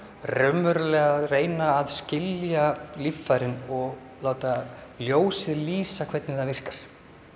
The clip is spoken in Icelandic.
raunverulega reyna að skilja líffærin og láta ljósið lýsa hvernig það virkar